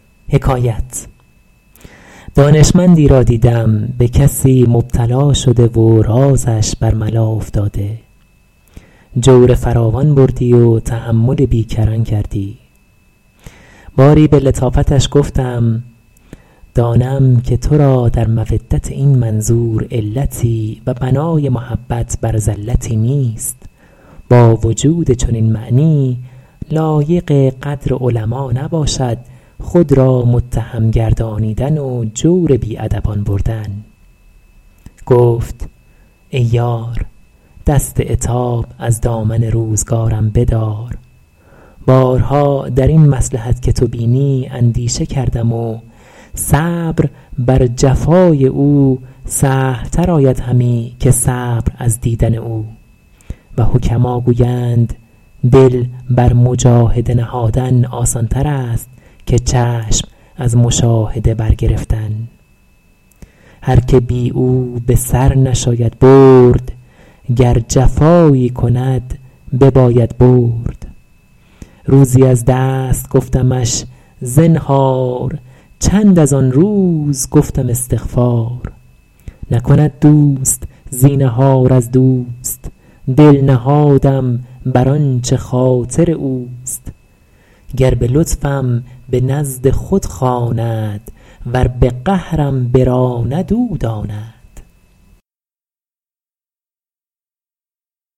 دانشمندی را دیدم به کسی مبتلا شده و رازش بر ملا افتاده جور فراوان بردی و تحمل بی کران کردی باری به لطافتش گفتم دانم که تو را در مودت این منظور علتی و بنای محبت بر زلتی نیست با وجود چنین معنی لایق قدر علما نباشد خود را متهم گردانیدن و جور بی ادبان بردن گفت ای یار دست عتاب از دامن روزگارم بدار بارها در این مصلحت که تو بینی اندیشه کردم و صبر بر جفای او سهل تر آید همی که صبر از دیدن او و حکما گویند دل بر مجاهده نهادن آسان تر است که چشم از مشاهده بر گرفتن هر که بی او به سر نشاید برد گر جفایی کند بباید برد روزی از دست گفتمش زنهار چند از آن روز گفتم استغفار نکند دوست زینهار از دوست دل نهادم بر آنچه خاطر اوست گر به لطفم به نزد خود خواند ور به قهرم براند او داند